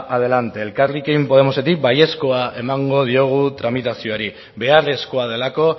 adelante elkarrekin podemosetik baiezko emango diogu tramitazioari beharrezkoa delako